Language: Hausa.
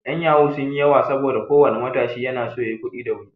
'Yan yahoo sun yi yawa saboda ko wani matashi na so ya yi kuɗi da wuri.